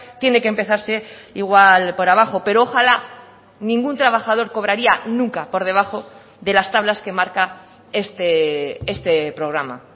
tiene que empezarse igual por abajo pero ojala ningún trabajador cobraría nunca por debajo de las tablas que marca este programa